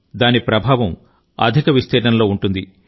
దీని ప్రభావం అధిక విస్తీర్ణంలో ఉంటుంది